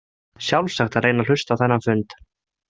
Sjálfsagt að reyna að hlusta á þennan fund.